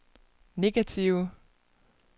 negative